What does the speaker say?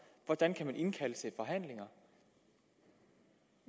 hvordan kan man indkalde til forhandlinger